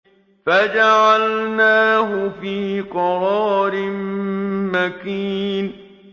فَجَعَلْنَاهُ فِي قَرَارٍ مَّكِينٍ